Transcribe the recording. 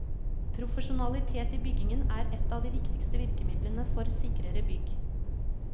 Profesjonalitet i byggingen er et av de viktigste virkemidlene for sikrere bygg.